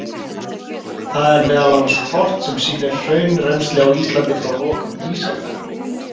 Þar er meðal annars kort sem sýnir hraunrennsli á Íslandi frá lokum ísaldar.